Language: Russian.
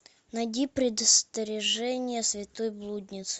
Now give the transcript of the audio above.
найди предостережение святой блудницы